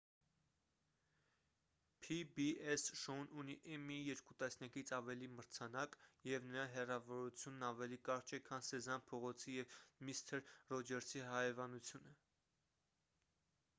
փի-բի-էս շոուն ունի էմմիի երկու տասնյակից ավել մրցանակ և նրա հեռավորությունն ավելի կարճ է քան սեզամ փողոցի և միսթր ռոջերսի հարևանությունը